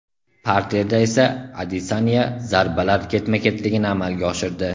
Parterda esa Adesanya zarbalar ketma-ketligini amalga oshirdi.